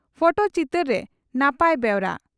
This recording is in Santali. ᱯᱷᱚᱴᱚ ᱪᱤᱛᱟᱹᱨ ᱨᱮ ᱱᱟᱯᱟᱭ ᱵᱮᱣᱨᱟ